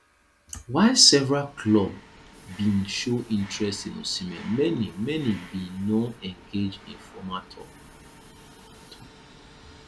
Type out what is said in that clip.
while several club bin show interest in osimhen many many bin no engage in formal tok